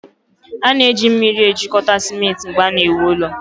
a na-eji mmiri ejikọta simenti mgbe a na-ewu ụlọ